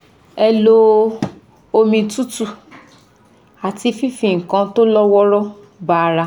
Ẹ lo omi tútù àti fífi nǹkan tó lọ́ wọ́ọ́rọ́ ba ara